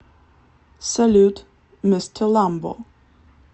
салют мистер ламбо